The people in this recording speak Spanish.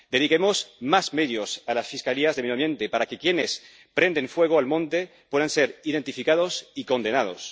Dediquemos más medios a las fiscalías de medio ambiente para que quienes prenden fuego al monte puedan ser identificados y condenados.